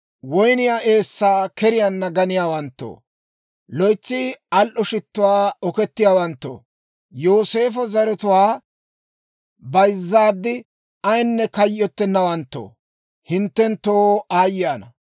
woyniyaa eessaa keriyaanna ganiyaawanttoo, loytsi al"o shittuwaakka okettiyaawanttoo, Yooseefo zaratuwaa bayzzaad ayinne kayyottenawanttoo, hinttenttoo aayye ana!